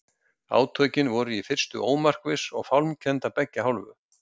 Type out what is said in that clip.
Átökin voru í fyrstu ómarkviss og fálmkennd af beggja hálfu.